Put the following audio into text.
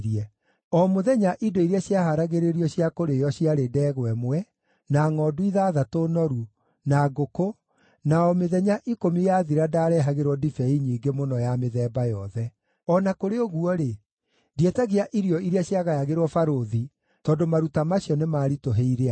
O mũthenya indo iria ciahaaragĩrio cia kũrĩĩo ciarĩ ndegwa ĩmwe, na ngʼondu ithathatũ noru, na ngũkũ, na o mĩthenya ikũmi yathira ndaarehagĩrwo ndibei nyingĩ mũno ya mĩthemba yothe. O na kũrĩ ũguo-rĩ, ndietagia irio iria ciagayagĩrwo barũthi, tondũ maruta macio nĩmaritũhĩire andũ.